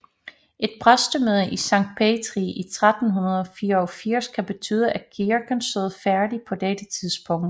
Et præstemøde i Sankt Petri i 1384 kan betyde at kirken stod færdig på dette tidspunkt